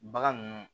Bagan ninnu